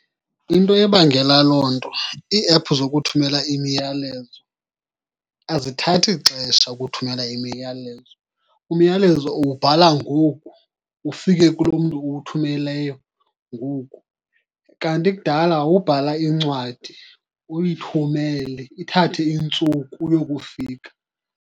Into ebangela loo nto iiephu zokuthumela imiyalezo azithathi xesha ukuthumela imiyalezo. Umyalezo uwubhala ngoku ufike kulo mntu uwuthumeleyo ngoku. Kanti kudala wawubhala incwadi uyithumele, ithathe iintsuku uyokufika.